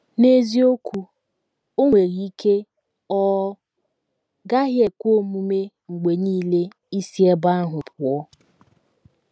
N’eziokwu, o nwere ike ọ gaghị ekwe omume mgbe nile isi ebe ahụ pụọ.